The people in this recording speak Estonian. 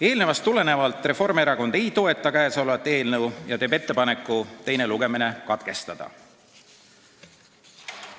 Eelnevast tulenevalt Reformierakond ei toeta seda eelnõu ja teeb ettepaneku teine lugemine katkestada.